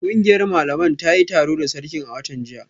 Kungiyar malaman ta yi taro da sarkin a watan jiya